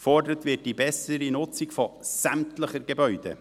Gefordert wird die bessere Nutzung von sämtlichen Gebäuden.